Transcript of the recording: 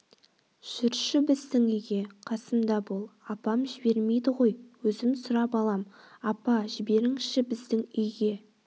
жүрші біздің үйге қасымда бол апам жібермейді ғой өзім сұрап алам апа жіберіңізші біздің үйге